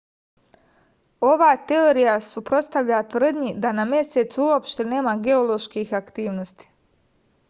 ova teorija se suprotstavlja tvrdnji da na mesecu uopšte nema geoloških aktivnosti